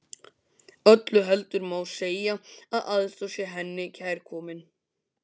Öllu heldur má segja að aðstoð sé henni kærkomin.